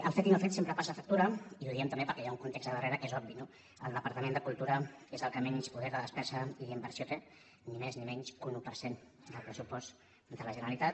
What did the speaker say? el fet i no fet sempre passa factura i ho diem també perquè hi ha un context a darrere que és obvi no el departament de cultura és el que menys poder de despesa i inversió té ni més ni menys que un un per cent del pressupost de la generalitat